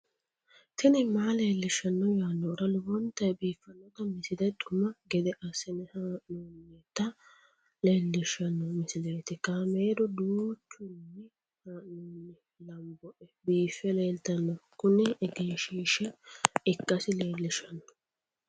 tini maa leelishshanno yaannohura lowonta biiffanota misile xuma gede assine haa'noonnita leellishshanno misileeti kaameru danchunni haa'noonni lamboe biiffe leeeltanno kuni egenshshiisha ikkasi leellishsanno